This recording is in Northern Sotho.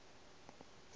mo kote o be a